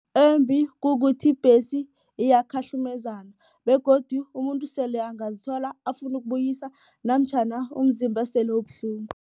Embi kukuthi ibhesi iyakhahlukumezana begodu umuntu sele angazithola afuna ukubuyisa namtjhana umzimba sele ubuhlungu.